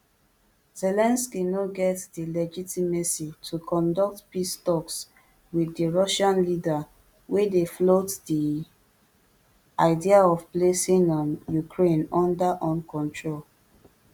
zelensky no get di legitimacy to conduct peace talks wit di russian leader wey dey float di idea of placing um ukraine under un control